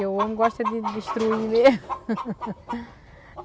Porque o homem gosta de destruir mesmo.